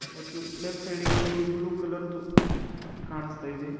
ಮತ್ತು ಲೇಫ಼್ ಸೈಡಿಗೆ ಒಂದು ಬ್ಲೂ ಕಲರ್ ದು ಕಾಣಸ್ತಾ ಇದೆ.